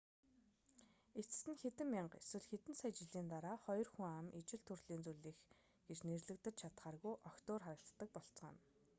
эцэст нь хэдэн мянга эсвэл хэдэн сая жилийн дараа хоёр хүн ам ижил төрөл зүйлийнх гэж нэрлэгдэж чадахааргүй огт өөр харагддаг болцгооно